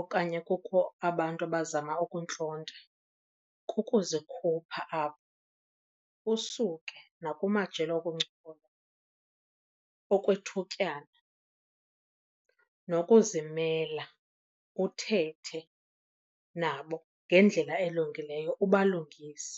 okanye kukho abantu abazama ukuntlonta kukuzikhupha apho usuke nakumajelo okuncokola okwethutyana, nokuzimela uthethe nabo ngendlela elungileyo ubalungise.